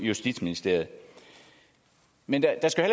justitsministeriet men der skal